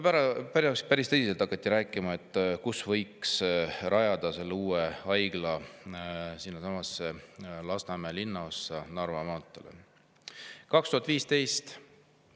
Päris tõsiselt hakati rääkima, et võiks rajada selle uue haigla Lasnamäe linnaossa Narva maantee, 2015. aastal.